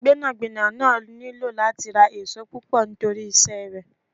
Gbẹ́nàgbẹ́nà náà nílò láti ra ìṣó púpọ̀ nítorí iṣẹ́ rẹ.